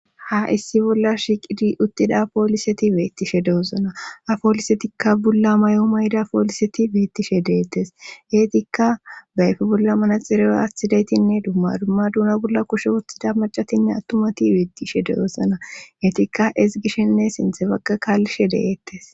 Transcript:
ha issi bolla shiqidi uttida pooliseti weettishe deosona apoolisetikka bulla may7o mayda pooliseti beettishe deettes geetikka bayfi bolla manaxire aatidaytinne dumma dumma duna bolla koshe uthida macatinne attumati weettishe deosanaeetikka is gishshenne sinthe baqa kaallishe deeettes